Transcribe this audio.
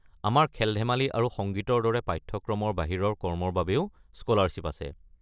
আমাৰ খেল-ধেমালি আৰু সংগীতৰ দৰে পাঠ্যক্ৰমৰ বাহিৰৰ কৰ্মৰ বাবেও স্কলাৰশ্বিপ আছে।